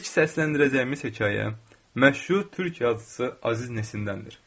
İlk səsləndirəcəyimiz hekayə məşhur türk yazıçısı Əziz Nesindəndir.